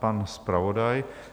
Pan zpravodaj.